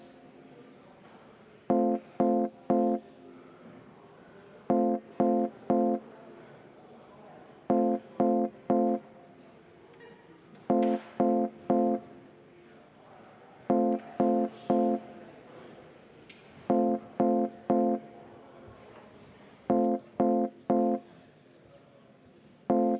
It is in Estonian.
Jaa, aitäh!